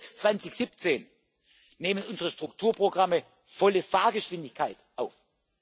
gehabt. Erst jetzt, 2017, nehmen unsere Strukturprogramme volle Fahrgeschwindigkeit